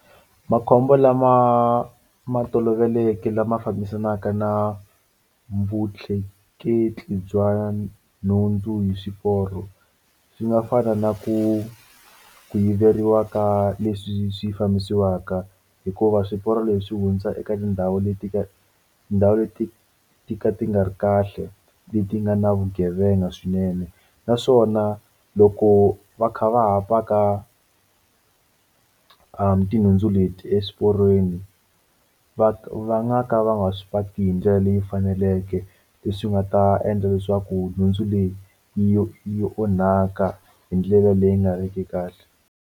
Makhombo lama ma toloveleke lama fambisanaka na vutleketli bya nhundzu hi swiporo swi nga fana na ku ku yiveriwa ka leswi swi fambisiwaka hikuva swiporo leswi hundza eka tindhawu leti ka tindhawu leti to ka ti nga ri kahle leti nga na vugevenga swinene naswona loko va kha va ha paka tinhundzu leti eswiporweni va va nga ka va nga swi patu hi ndlela leyi faneleke leswi nga ta endla leswaku nhundzu leyi yi yi onhaka hi ndlela leyi nga ri ki kahle.